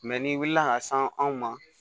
n'i wulila ka se anw ma